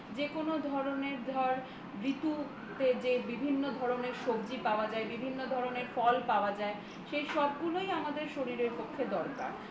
যেকোনো ধরনের ধর ঋতুতে যে বিভিন্ন ধরনের সবজি পাওয়া যায় বিভিন্ন ধরনের ফল পাওয়া যায় সেই সবগুলোই আমাদের শরীরের পক্ষে দরকার